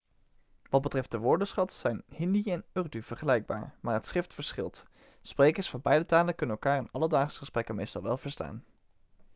wat betreft de woordenschat zijn hindi en urdu vergelijkbaar maar het schrift verschilt sprekers van beide talen kunnen elkaar in alledaagse gesprekken meestal wel verstaan